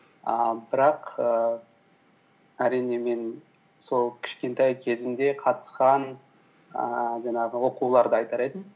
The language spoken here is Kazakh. ііі бірақ ііі әрине мен сол кішкентай кезімде қатысқан ііі жаңағы оқуларды айтар едім